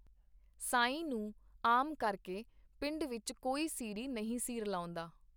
ਸਾਈਂ ਨੂੰ ਆਮ ਕਰਕੇ ਪਿੰਡ ਵਿੱਚ ਕੋਈ ਸੀਰੀ ਨਹੀਂ ਸੀ ਰਲਾਉਂਦਾ.